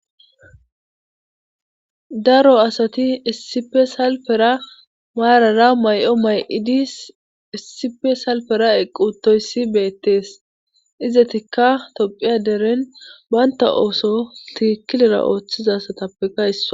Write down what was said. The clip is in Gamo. Daro asati essipe salpera maarara may'o may'idis essippe salpera eqi utoyssi beettees izetikka tophphiya deren baynta ooso tiikilera ooththiza assatappekka isso